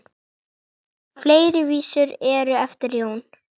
Fleiri vísur eru eftir Jón